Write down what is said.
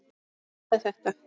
og Hvað er þetta?